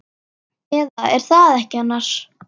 Eða. er það ekki annars?